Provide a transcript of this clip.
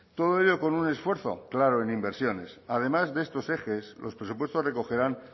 todo ello con un esfuerzo claro en inversiones además de estos ejes los presupuestos recogerán